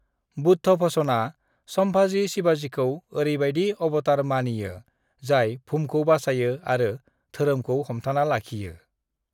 बुद्धभूषणआ संभाजी शिवाजीखौ ओरैबायदि अवतार मानियो जाय भुमखौ बासायो आरो धोरोमखौ हमथाना लाखियो।